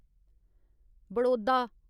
Baroda